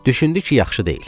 Düşündü ki, yaxşı deyil.